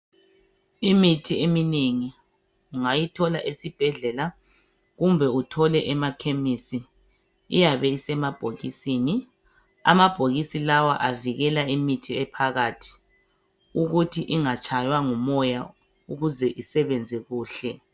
Imithi eminengi ungayithola esibhedlela kumbe uthole emakhemisi, iyabe isemabhokisini. Amabhokisi lawa avikela imithi ephakathi ukuthi ingatshaywa ngumoya ukuze isebenze kuhle.